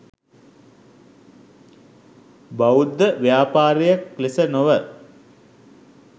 බෞද්ධ ව්‍යාපාරයක් ලෙස නොව